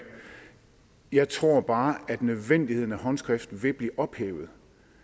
jeg tror bare at nødvendigheden af håndskrift vil blive ophævet